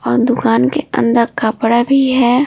और दुकान के अंदर कपड़ा भी है।